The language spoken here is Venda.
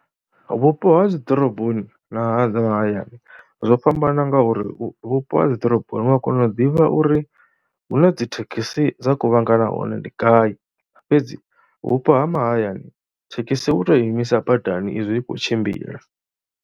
Vhupo ha dzi ḓoroboni na ha mahayani zwo fhambana ngauri vhupo ha dzi ḓoroboni wa kona u ḓivha uri hune dzi thekhisi dza kuvhangana hone ndi ngai fhedzi vhupo ha mahayani thekhisi u tou imisa badani izwi i khou tshimbila.